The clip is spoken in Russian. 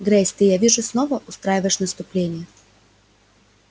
грейс ты я вижу снова устраиваешь наступление